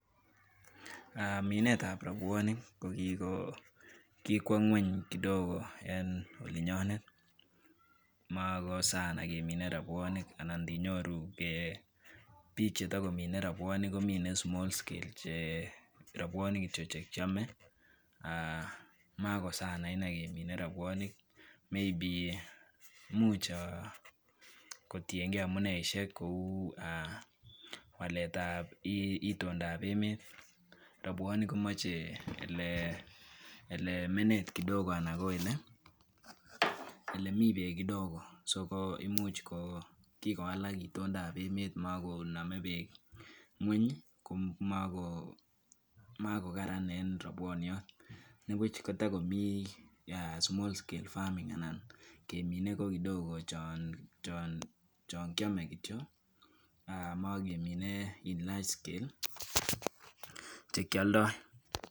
Minetab robwonik ko kikwo ngwony kidogo en olinyonet makosana kemine robwonik anan indinyooru bike chetokomine robwonik komine small scale .cherobwonik kityok chekiome, ak makosanaine kemine robwonik. Maybe imuch kotiengei amuneisiek, ko e waletab itondab emet. Robwonik komoche ele menet kidogo Alan koelemi beek kidogo. So imuch ko kikowalak itondab emet makoname beek ngwony ko moko Karan en robwoniot nibuch kotokomi small scale farming anan kemine ko kidogo chon kiome kityok.ak mokemine en large scale chekioldoi.